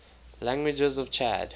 languages of chad